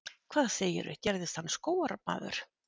Hvað segirðu, gerðist hann skógarmaður?